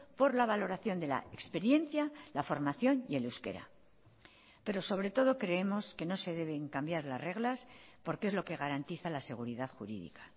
por la valoración de la experiencia la formación y el euskera pero sobre todo creemos que no se deben cambiar las reglas porque es lo que garantiza la seguridad jurídica